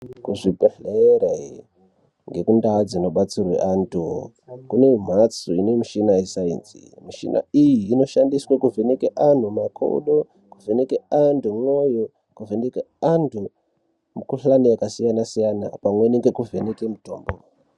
Kuzvibhedhlera kunendau dzino batsirwa antu. Kune mhatso inemushina yeSainzi ,mushinai iyi inoshandiswa kuvheneke antu makodo, kuvheneke antu mwoyo, kuvheneke antu mukhuhlani yakasiyana -siyana pamweni neku vheneke mutombo.